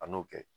An n'o kɛ